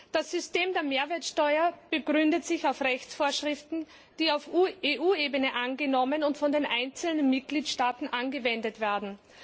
Das System der Mehrwertsteuer begründet sich auf Rechtsvorschriften, die auf EU Ebene angenommen und von den einzelnen Mitgliedstaaten angewendet werden.